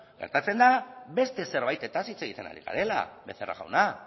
gertatzen da beste zerbaitez hitz egiten ari garela becerra jauna